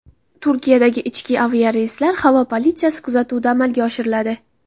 Turkiyadagi ichki aviareyslar havo politsiyasi kuzatuvida amalga oshiriladi.